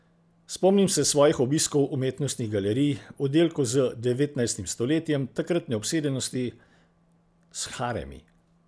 Spomnim se svojih obiskov umetnostnih galerij, oddelkov z devetnajstim stoletjem, takratne obsedenosti s haremi.